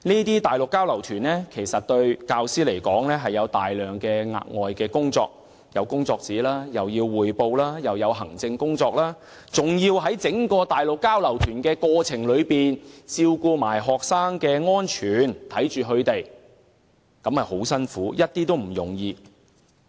對教師而言，這些交流活動涉及大量額外工作，包括預備工作紙、向校方匯報及處理行政事務等，還要在整個交流行程中照顧及看管學生，十分辛苦，並不易為。